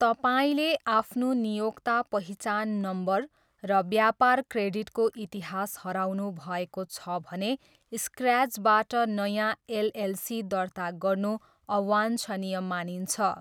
तपाईँले आफ्नो नियोक्ता पहिचान नम्बर र व्यापार क्रेडिटको इतिहास हराउनु भएको छ भने स्क्र्याचबाट नयाँ एलएलसी दर्ता गर्नु अवाञ्छनीय मानिन्छ।